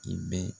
I bɛ